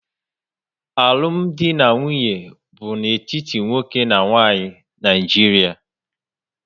Alụm di na nwunye bu n'etiti nwoke na nwanyị na Naijiria